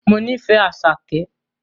Mo nífẹ̀ẹ́ Àṣàkẹ́